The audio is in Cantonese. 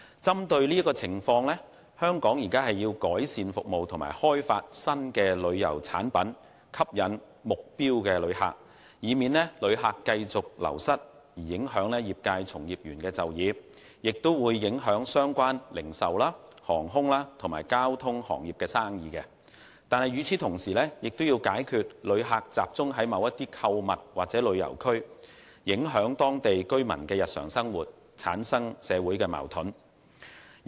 針對這個情況，香港要改善服務及開發新旅遊產品吸引目標旅客，以免因旅客繼續流失而影響業界從業員就業，以及相關零售、航空及交通行業的業務；同時亦要解決旅客集中在某些地區購物或旅遊的問題，以防影響當地居民的日常生活，產生社會矛盾。